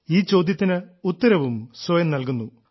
ഈ ചോദ്യത്തിന് ഉത്തരവും സ്വയം നൽകുന്നു